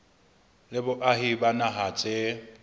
le boahi ba naha tse